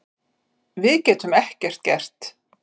Við getum ekki gert það